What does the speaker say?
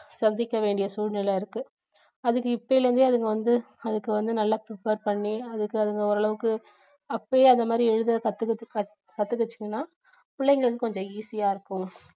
சந்திக்க வேண்டிய சூழ்நிலை இருக்கு அதுக்கு இப்போதுல இருந்தே அதுங்க வந்து அதுக்கு வந்து நல்ல prepare பண்ணி அதுக்கு அதுங்க ஓரளவுக்கு அப்போவே அந்த மாதிரி எழுத கத்~கத்துகிச்சுங்கன்னா பிள்ளைங்களுக்கு கொஞ்சம் easy யா இருக்கும்